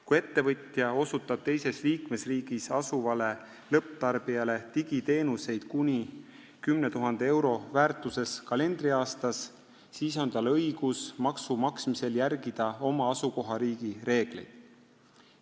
Kui ettevõtja osutab teises liikmesriigis asuvale lõpptarbijale digiteenuseid kuni 10 000 euro väärtuses kalendriaastas, siis on tal õigus maksu maksmisel järgida oma asukohariigi reegleid.